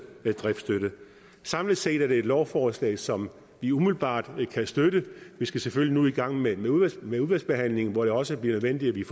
driftsstøtte samlet set er det et lovforslag som vi umiddelbart kan støtte vi skal selvfølgelig nu i gang med med udvalgsbehandlingen hvor det også bliver nødvendigt at vi